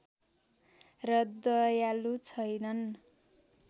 र दयालु छैनन्